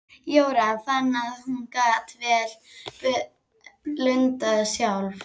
Jóra fann að hún gat vel blundað sjálf.